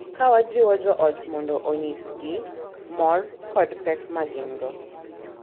Ka wajiwo jo ot mondo onyisgi mor kod pek ma gin-go,